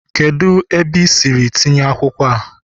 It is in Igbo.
kedu ebe i siri tinye akwukwo a?